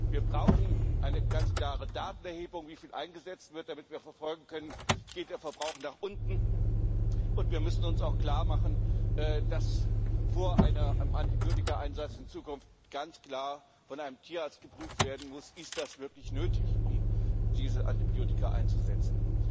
Wir brauchen eine ganz klare Datenerhebung, wie viel eingesetzt wird, damit wir verfolgen können, ob der Verbrauch nach unten geht. Und wir müssen uns auch klarmachen, dass vor einem Antibiotikaeinsatz in Zukunft ganz klar von einem Tierarzt geprüft werden muss, ob es wirklich nötig ist, diese Antibiotika einzusetzen.